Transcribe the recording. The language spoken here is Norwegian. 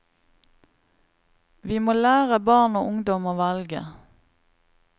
Vi må lære barn og ungdom å velge.